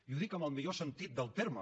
i ho dic en el millor sentit del terme